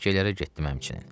Təkyələrə getdim həmçinin.